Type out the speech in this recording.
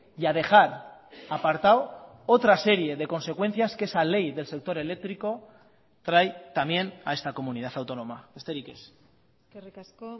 y a dejar apartado otra serie de consecuencias que esa ley del sector eléctrico trae también a esta comunidad autónoma besterik ez eskerrik asko